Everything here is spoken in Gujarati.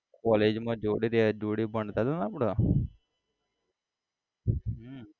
college માં જોડે રહે જોડે ભણતા હતાને આપડે હમ